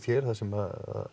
hér þar sem